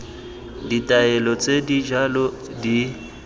ditaelo tse di jalo di